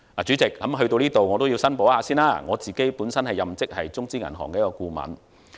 主席，在這裏，我也要申報，我本身任職中資銀行顧問。